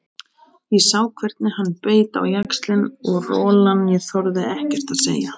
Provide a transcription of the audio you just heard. Ég sá hvernig hann beit á jaxlinn og rolan ég þorði ekkert að segja.